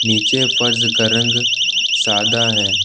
नीचे फर्श का रंग सादा है।